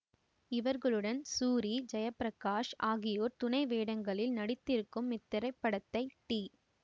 இவர்களுடன் சூரி ஜெயபிரகாஷ் ஆகியோர் துணை வேடங்களில் நடித்திருக்கும் இத்திரைப்படத்தை டி